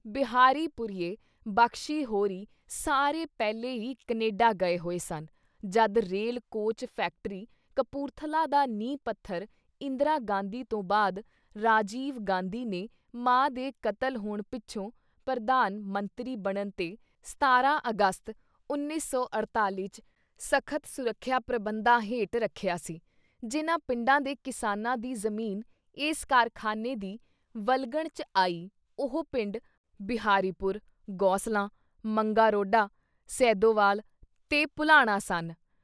ਬਿਹਾਰੀ ਪੁੁਰੀਏ ਬਖ਼ਸ਼ੀ ਹੋਰੀਂ ਸਾਰੇ ਪਹਿਲੇ ਈ ਕਨੇਡਾ ਗਏ ਹੋਏ ਸਨ ਜਦ ਰੇਲ ਕੋਚ ਫੈਕਟਰੀ ਕਪੂਰਥਲਾ ਦਾ ਨੀਂਹ ਪੱਥਰ ਇੰਦਰਾ ਗਾਂਧੀ ਤੋਂ ਬਾਅਦ ਰਾਜੀਵ ਗਾਂਧੀ ਨੇ ਮਾਂ ਦੇ ਕਤਲ ਹੋਣ ਪਿੱਛੋਂ ਪ੍ਰਧਾਨ ਮੰਤਰੀ ਬਣਨ ਤੇ 17 ਅਗਸਤ 1948 ‘ਚ ਸਖ਼ਤ ਸੁਰਖਿਆ ਪ੍ਰਬੰਧਾਂ ਹੇਠ ਰੱਖਿਆ ਸੀ, ਜਿਨ੍ਹਾਂ ਪਿੰਡਾਂ ਦੇ ਕਿਸਾਨਾਂ ਦੀ ਜ਼ਮੀਨ ਇਸ ਕਾਰਖਾਨੇ ਦੀ ਵਲਗਣ ‘ਚ ਆਈ ਉਹ ਪਿੰਡ ਬਿਹਾਰੀ ਪੁਰ, ਗੋਸਲਾਂ, ਮੰਗਾ-ਰੋਡਾ, ਸੈਦੋਵਾਲ ਤੇ ਭੁਲਾਣਾ ਸਨ।